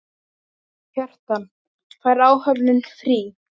Kjartan: Fær áhöfnin frí?